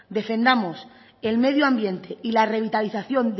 defendamos el medio ambiente y la revitalización